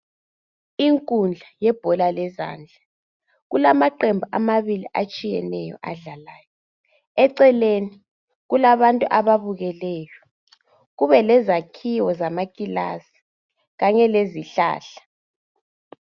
Inkudla yebhola lezandla kulamaqembu amabili atshiyeneyo adlalayo eceleni kulabantu ababukeleyo kube lezakhiwo zamakilasi kanye lezihlahla.